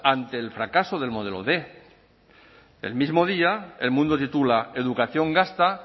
ante el fracaso del modelo quinientos el mismo día el mundo titula educación gasta